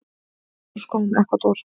Mynd úr skógum Ekvador.